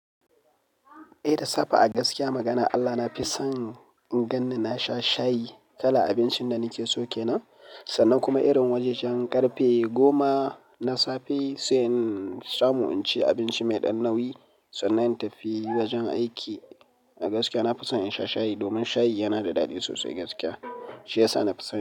Eh da safe a gaskiya magana, Allah nafi son in ganni nasha shayi kalar abincin da nakeso kenan. Sannan kuma irin wajajen ƙarfe goma na safe sai in samu in ci abinci mai ɗan nauyi. Sannan in tafi wajen aiki. A gaskiya na fi son in sha shayi domin shayi yana da daɗi sosai gaskiya. Shi ya sa na fi son.